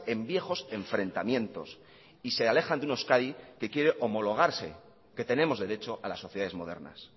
en viejos enfrentamientos y se alejan de una euskadi que quiere homologarse que tenemos derecho a las sociedades modernas